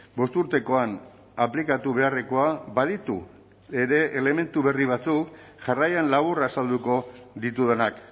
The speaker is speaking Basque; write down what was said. bosturtekoan aplikatu beharrekoa baditu ere elementu berri batzuk jarraian labur azalduko ditudanak